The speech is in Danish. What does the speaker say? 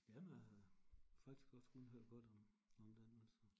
Jamen øh faktisk også kun hørt godt om om den altså